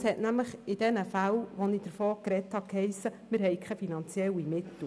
In den Fällen, von denen ich vorhin gesprochen habe, hat es geheissen, es bestünden keine finanziellen Mittel.